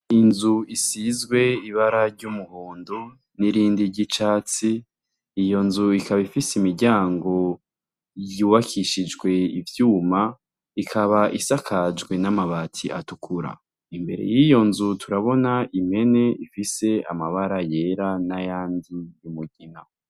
Inzu isizwe ibara ry'umuhondo n'irindi ry'icatsi iyo nzu ikaba ifise imiryango yubakishijwe ivyuma ikaba isakajwe n'amabati atukura imbere yiyo turabona impene ifise amabara yera n'ayandi y'umugina.